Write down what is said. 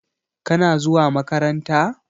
Kana zuwa makaranta?